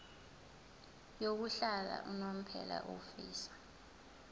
yokuhlala unomphela ofisa